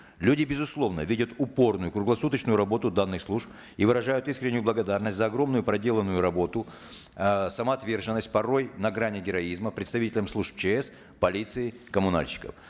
люди безусловно видят упорную круглосуточную работу данных служб и выражают исреннюю благодарность за огромную проделанную работу э самоотверженность порой на грани героизма представителям служб чс полиции коммунальщиков